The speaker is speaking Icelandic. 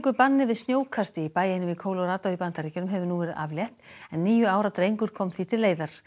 banni við snjókasti í bæ einum í í Bandaríkjunum hefur nú verið aflétt en níu ára drengur kom því til leiðar